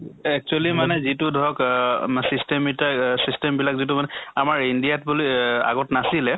actually মানে যিটো ধৰক অহ মা system ইতা system বিলাক যিটো মানে আমাৰ india ত বুলি অহ আগত নাছিলে